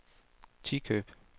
Tikøb